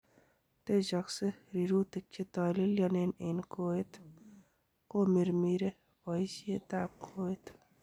Techokse rirutik chetolelionen en koet, komirmire boisetab koet.